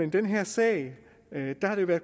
i den her sag